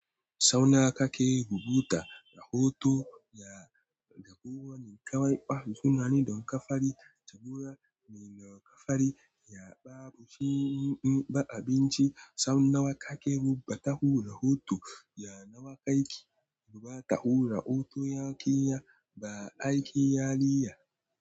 Sauna ka ke rubuta rahoto ya, da ko wani karɓa sunane don ka fari jagora mai nauka fari ya babu fi'in ba abinci sauna wa ka ke rubuta hura hoto ya na wa kai ki rubata hura hoto ya ƙiya ba aiki yariya.